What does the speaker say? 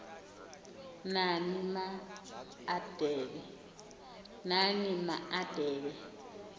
nani ma adebe